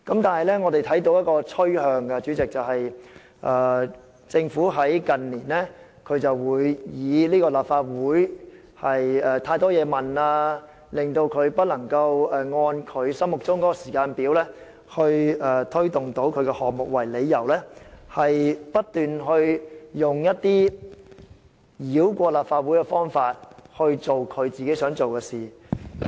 但是，我們看到一種趨勢，政府近年常以立法會提出太多質詢，令政府無法按心目中的時間表推行政策項目為由，不斷繞過立法會以落實自己想做的事。